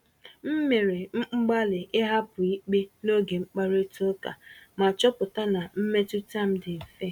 M mere mgbalị ịhapụ ikpe n’oge mkparịta ụka, ma chọpụta na mmetụta m dị mfe.